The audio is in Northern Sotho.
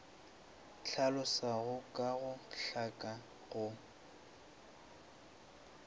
hlalosago ka go hlaka go